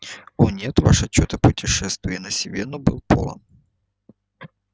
о нет ваш отчёт о путешествии на сивенну был полон